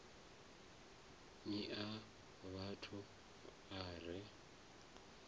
ni na mafhafhu a re